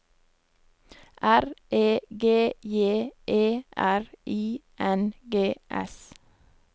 R E G J E R I N G S